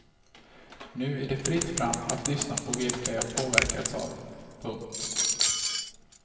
Nu är det fritt fram att lyssna på vilka jag påverkats av. punkt